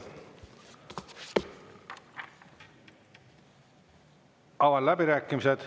Avan läbirääkimised.